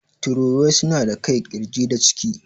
Tururuwai suna da kai, ƙirji da ciki.